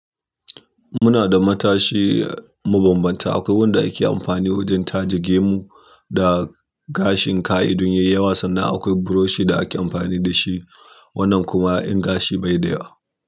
Muna da matashi mabambanta. Akwai wanda ake amfani wajen taje gemu da gashin ka idon yayi yawa sannan akwai buroshi da ake amfani da shi. Wannan kuma in gashi bai da yawa.